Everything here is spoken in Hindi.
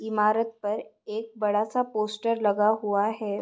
इमारत पर एक बड़ा सा पोस्टर लगा हुआ है।